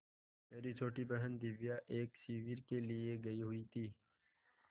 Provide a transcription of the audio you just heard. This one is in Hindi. मेरी छोटी बहन दिव्या एक शिविर के लिए गयी हुई थी